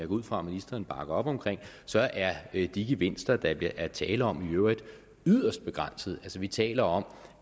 ud fra ministeren bakker op om er de gevinster der i øvrigt er tale om yderst begrænset vi taler om